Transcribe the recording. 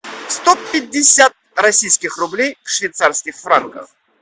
сто пятьдесят российских рублей в швейцарских франках